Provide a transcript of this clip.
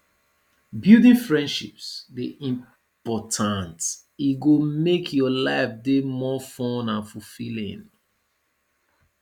building friendships dey important e go make your life dey more fun and fulfilling